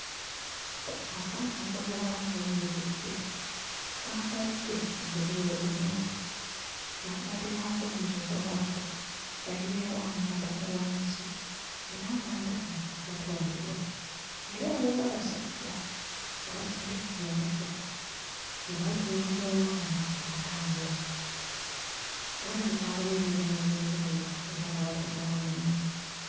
Akaana ak'obuwala kayimiridde kambadde olugoye olumyufu mabbali waako oba emabega waako bayiyeewo amanda mu wansi era amanda gano gatundibwa era waliwo abasajja abatudde kkameeza nga batunuulira omwana atambula walabika waliwo emirimu egy'enjawulo era nga batundawo n'emmere.